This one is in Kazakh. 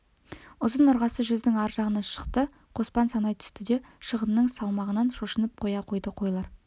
ұзын ырғасы жүздің ар жағына шықты қоспан санай түсті де шығынның салмағынан шошынып қоя қойды қойлар